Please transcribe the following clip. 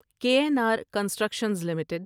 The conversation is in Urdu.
کے این آر کنسٹرکشنز لمیٹڈ